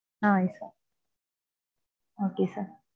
okay sir ah yes sir